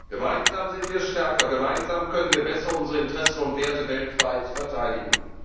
Gemeinsam sind wir stärker, gemeinsam können wir besser unsere Interessen und Werte weltweit verteidigen.